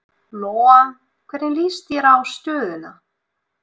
Lóa: Hvernig líst þér á stöðuna?